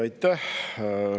Aitäh!